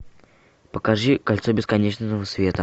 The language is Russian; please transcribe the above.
покажи кольцо бесконечного света